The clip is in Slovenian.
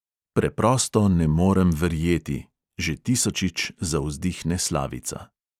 Preprosto ne morem verjeti, že tisočič zavzdihne slavica.